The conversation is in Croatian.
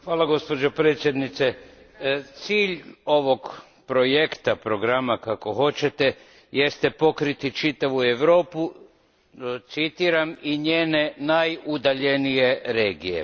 Gospođo predsjednice, cilj ovog projekta, programa, jeste pokriti čitavu Europu, citiram, i njene najudaljenije regije.